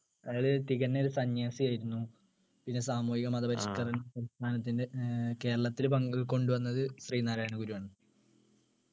അയാള് തികഞ്ഞ ഒരു സന്യാസിയായിരുന്നു പിന്നെ സാമൂഹിക മതപരിഷ്കരണ പ്രസ്ഥാനത്തിൻ്റെ ഏർ കേരളത്തിലെ പങ്കുകൊണ്ടു വന്നത് ശ്രീനാരായണഗുരു ആണ്